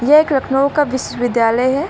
ये एक लखनऊ का विश्व विद्यालय है।